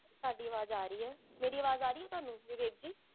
ਤੁਹਾਡੀ ਆਵਾਜ਼ ਆ ਰਹੀ ਹੈ ਮੇਰੀ ਆਵਾਜ਼ ਆ ਰਹੀ ਹੈ ਤੁਹਾਨੂ? ਵਿਵੇਕ ਜੀ